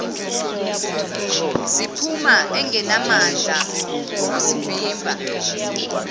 ziphuma engenamandla okuzivimba